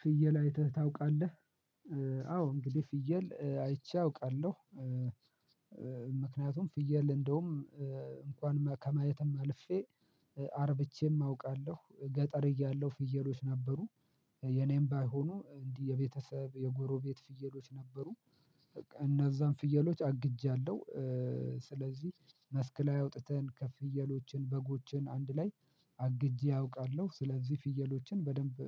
ፍየል አይተህ ታውቃለህ አዎ እንግዲህ ፍየል አይቼ አውቃለሁ ምክንያቱም ፍየል እንዳውም እንኳን ማ ከማየትም አልፌ አርብቼም አውቃለሁ ገጠር እያለሁ ፍየሎች ነበሩ የኔም ባይሆኑ እንዲህ የቤተሰብ የጎሮቤት ፍየሎች ነበሩ በቃ እነዛን ፍየሎች አግጃለሁ ስለዚህ መስክ ላይ አውጥተን ከፍየሎችን በጎችን አንድ ላይ አግጄ አውቃለሁ ስለዚህ ፍየሎችን በደንብ